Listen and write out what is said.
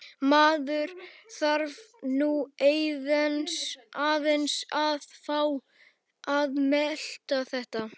Maður þarf nú aðeins að fá að melta þetta.